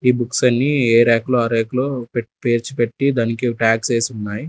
ఈ బుక్స్ అన్నీ ఏ ర్యాక్ లో ఆ ర్యాక్ లో పెట్ పేర్చిపెట్టి దానికి ట్యాగ్స్ వేసి ఉన్నాయ్.